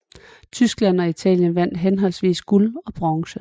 Tyskland og Italien vandt henholdsvis guld og bronze